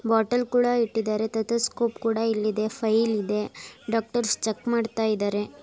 bottle ಕೂಡ ಇಟ್ಟಿದ್ದಾರೆ stethoscope ಕೂಡ ಇಲ್ಲಿದೆ ಫೈಲ್ ಇದೆ ಡಾಕ್ಟರ್ಸ್ ಚೆಕ್ ಮಾಡ್ತಾ ಇದ್ದಾರೆ --